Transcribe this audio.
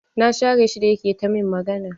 Na share shi da yake ta min magana.